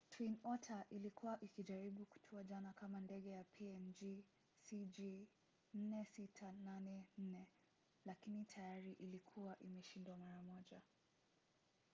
twin otter ilikuwa ikijaribu kutua jana kama ndege ya png cg4684 lakini tayari ilikuwa imeshindwa mara moja